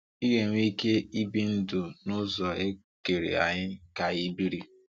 Ị ga-enwe ike ibi ndụ n’ụzọ e kere anyị ka anyị biri.